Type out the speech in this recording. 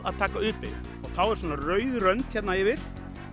að taka u beygju og þá er svona rauð rönd hér yfir